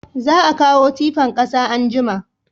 Za a kawo tifan kasa anjima